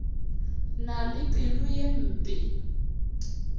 na le pelo ye mpe